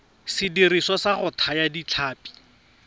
sediriswa sa go thaya ditlhapi